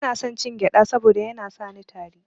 Bana son cin gyada saboda Yana sani yin tari.